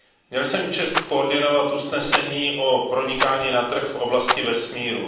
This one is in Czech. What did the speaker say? Měl jsem čest koordinovat usnesení o pronikání na trh v oblasti vesmíru.